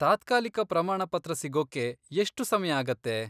ತಾತ್ಕಾಲಿಕ ಪ್ರಮಾಣಪತ್ರ ಸಿಗೋಕ್ಕೆ ಎಷ್ಟು ಸಮಯ ಆಗತ್ತೆ?